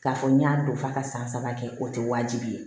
K'a fɔ n y'a don f'a ka san saba kɛ o tɛ wajibi ye